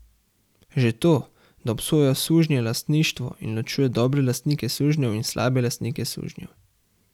Že to, da obsoja sužnjelastništvo in ločuje dobre lastnike sužnjev in slabe lastnike sužnjev?